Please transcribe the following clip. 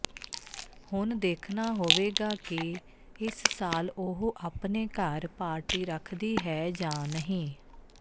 ਹੁਣ ਦੇਖਣਾ ਹੋਵੇਗਾ ਕਿ ਇਸ ਸਾਲ ਉਹ ਆਪਣੇ ਘਰ ਪਾਰਟੀ ਰੱਖਦੀ ਹੈ ਜਾਂ ਨਹੀਂ